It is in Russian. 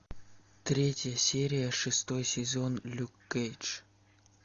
третья серия шестой сезон люк кейдж